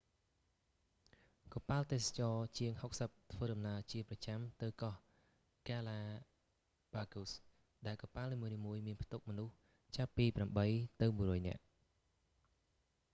កប៉ាល់ទេសចរណ៍ជាង 60 ធ្វើដំណើរជាប្រចាំទៅកោះហ្គាឡាប៉ាហ្គូស ដែលកប៉ាល់នីមួយៗមានផ្ទុកមនុស្សចាប់ពី 8 ទៅ 100 នាក់